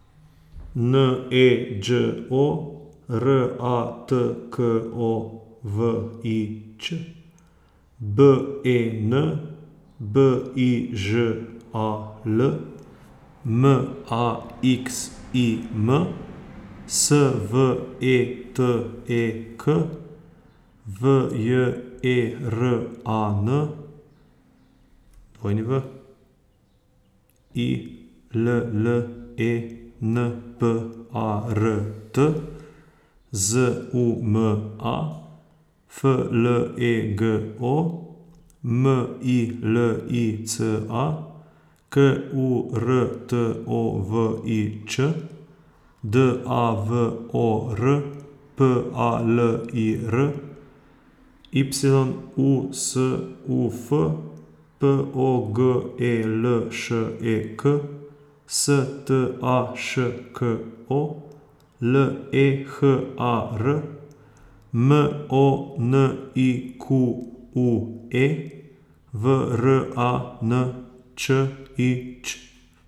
N E Đ O, R A T K O V I Ć; B E N, B I Ž A L; M A X I M, S V E T E K; V J E R A N, W I L L E N P A R T; Z U M A, F L E G O; M I L I C A, K U R T O V I Č; D A V O R, P A L I R; Y U S U F, P O G E L Š E K; S T A Š K O, L E H A R; M O N I Q U E, V R A N Č I Ć.